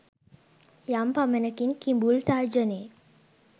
යම් පමණකින් කිඹුල් තර්ජනයෙ